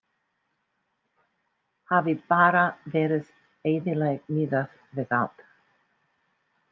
Hafi bara verið eðlileg miðað við allt.